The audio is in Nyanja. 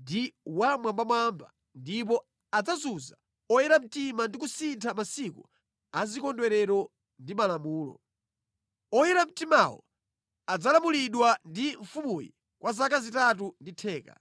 ndi Wammwambamwamba ndipo adzazunza oyera mtima ndi kusintha masiku azikondwerero ndi malamulo. Oyera mtimawo adzalamulidwa ndi mfumuyi kwa zaka zitatu ndi theka.